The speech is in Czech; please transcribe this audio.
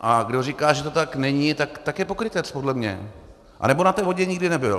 A kdo říká, že to tak není, tak je pokrytec podle mě, anebo na té vodě nikdy nebyl.